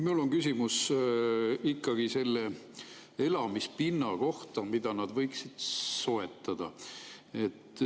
Mul on küsimus ikkagi selle elamispinna kohta, mida nad võiksid soetada.